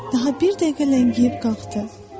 Daha bir dəqiqə ləngiyib qalxdı.